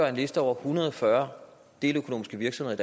af en liste over en hundrede og fyrre deleøkonomiske virksomheder